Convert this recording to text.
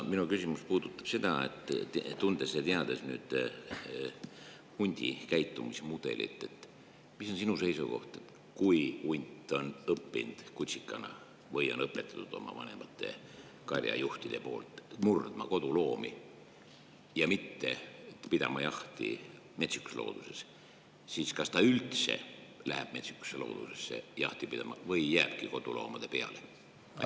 Minu küsimus puudutab seda, et tundes ja teades hundi käitumismudelit, mis on sinu seisukoht: kui hunt on õppinud kutsikana või on õpetatud vanemate karjajuhtide poolt murdma koduloomi ja mitte pidama jahti metsikus looduses, siis kas ta üldse läheb metsikusse loodusesse jahti pidama või jääbki koduloomade peale?